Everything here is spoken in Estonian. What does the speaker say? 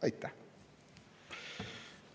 Aitäh!